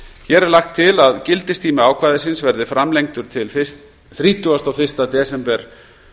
hér er lagt til að gildistími ákvæðisins verði framlengdur til þrítugasta og fyrsta desember